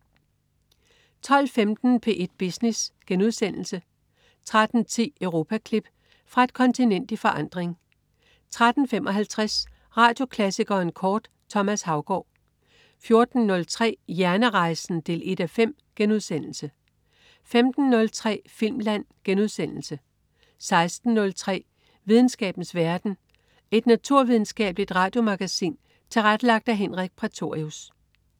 12.15 P1 Business* 13.10 Europaklip. Fra et kontinent i forandring 13.55 Radioklassikeren kort. Thomas Haugaard 14.03 Hjernerejsen 1:5* 15.03 Filmland* 16.03 Videnskabens verden. Et naturvidenskabeligt radiomagasin tilrettelagt af Henrik Prætorius